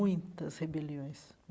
Muitas rebeliões.